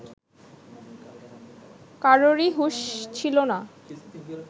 কারোরই হুঁশ ছিল না